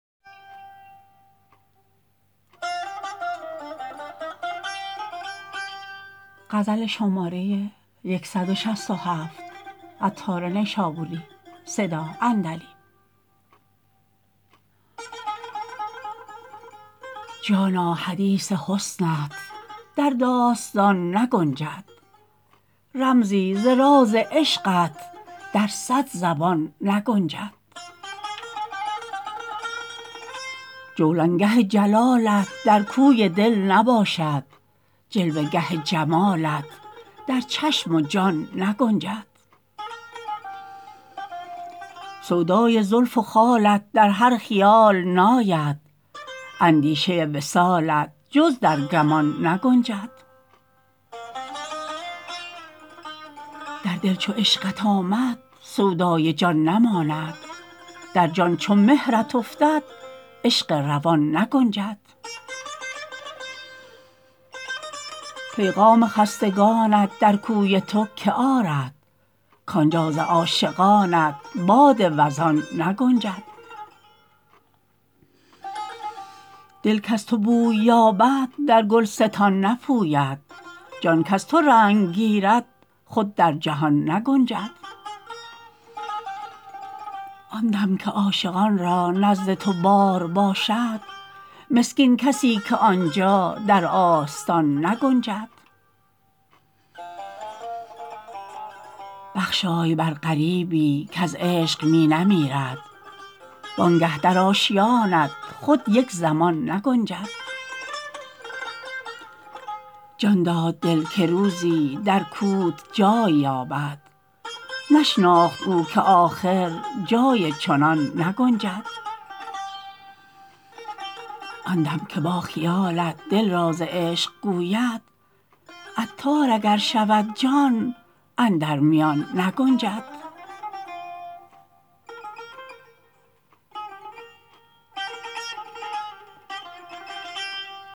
جانا حدیث حسنت در داستان نگنجد رمزی ز راز عشقت در صد زبان نگنجد جولانگه جلالت در کوی دل نباشد جلوه گه جمالت در چشم و جان نگنجد سودای زلف و خالت در هر خیال ناید اندیشه وصالت جز در گمان نگنجد در دل چو عشقت آمد سودای جان نماند در جان چو مهرت افتد عشق روان نگنجد پیغام خستگانت در کوی تو که آرد کانجا ز عاشقانت باد وزان نگنجد دل کز تو بوی یابد در گلستان نپوید جان کز تو رنگ گیرد خود در جهان نگنجد آن دم که عاشقان را نزد تو بار باشد مسکین کسی که آنجا در آستان نگنجد بخشای بر غریبی کز عشق می نمیرد وانگه در آشیانت خود یک زمان نگنجد جان داد دل که روزی در کوت جای یابد نشناخت او که آخر جای چنان نگنجد آن دم که با خیالت دل راز عشق گوید عطار اگر شود جان اندر میان نگنجد